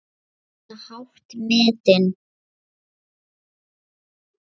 Nú, eða hátt metin.